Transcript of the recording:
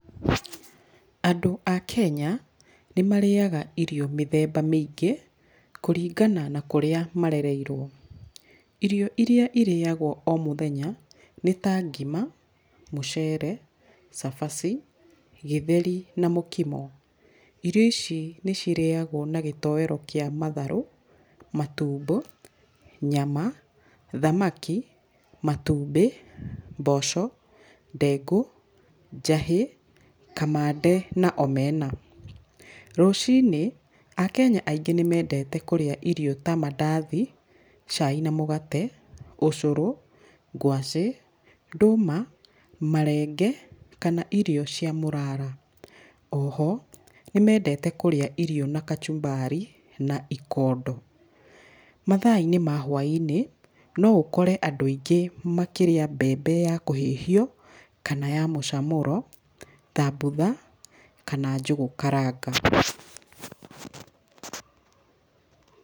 Andũ a kenya nĩ marĩaga irio mĩthemba mĩingĩ kũringana na kũrĩa marereirwo. Irio iria irĩagwo o mũthenya nĩ ta ngima, mũcere, cabaci, gĩtheti na mũkimo. Irio ici nĩ ciraagwo na gĩtowero gĩa matharũ, matumbo, thamaki, matumbĩ, mboco, ndengũ, njahĩ, kamande na omena. Rũcinĩ akenya aingĩ nĩ mendete kũrĩa irio ta mandathi cai na mũgate, ũcũrũ, ngwacĩ, ndũma marenge kana irio cia mũrara, oho nĩ mendete kũrĩa irio na kachumbari na ikondo. Mathainĩ ma hwainĩ no ũkore andũ aingĩ makĩrĩa mbembe ya kũhĩhio kana ya mũcamũro thambutha kana njũgũ karanga.